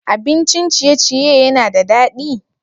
Abincin ciye-ciye yana da daɗi?